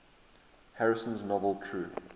harrison's novel true